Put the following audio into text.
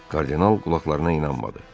Kardinal qulaqlarına inanmadı.